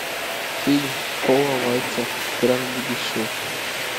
фильм пола вайца кран будущего